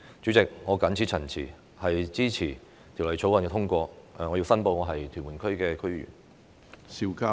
主席，我謹此陳辭，支持通過《條例草案》，並申報我是屯門區的區議員。